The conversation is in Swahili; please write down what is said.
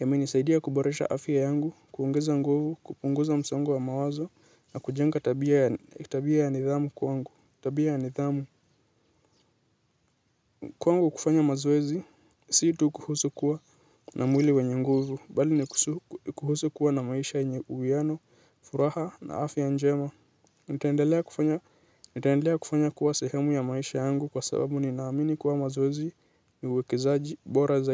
Yamenisaidia kuboresha afya yangu, kuongeza nguvu, kupunguza msongo wa mawazo, na kujenga tabia ya nidhamu kwangu, tabia ya nidhamu. Kwangu kufanya mazoezi, si tu kuhusu kuwa na mwili wenye nguvu, bali ni kuhusu kuwa na maisha yenye uwiano, furaha na afya njema. Nitaendelea kufanya kuwa sehemu ya maisha yangu kwa sababu ninaamini kuwa mazoezi ni uwekezaji bora zaidi.